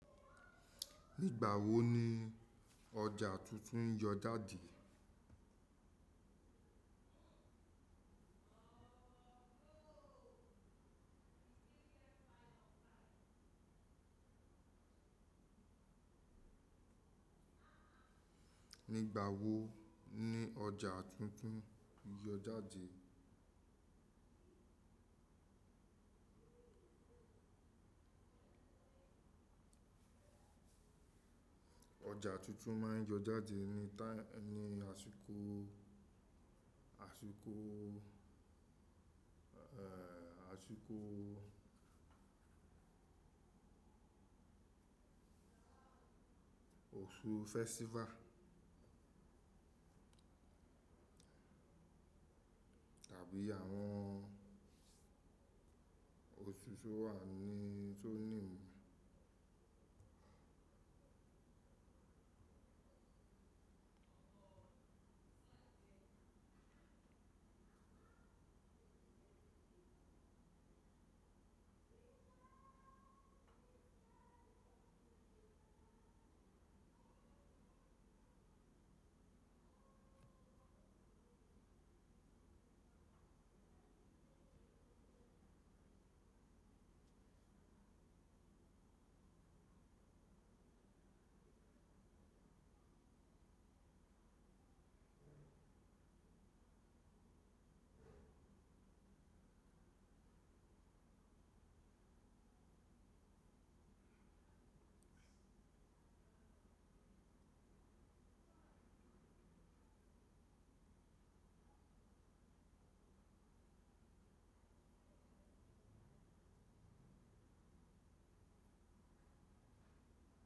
Nígbà wo ni ọjà tuntun yọ jáde? Nígbà wo ni ọjà tuntun yọ jáde? Ọjà tuntun máa ń yọ jáde ní tá-- ní àsìkò, àsìkò, àsìkò oṣù festival tàbí àwọn oṣù tí ó wà ní tó ní.